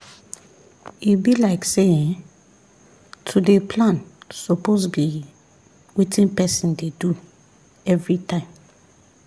e be like say[um]to dey plan suppose be wetin person dey do everytime